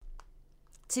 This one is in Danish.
TV 2